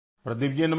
प्रदीप जी नमस्कार